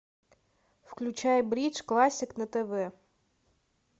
включай бридж классик на тв